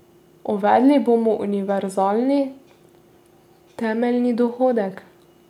Uvedli bomo univerzalni temeljni dohodek.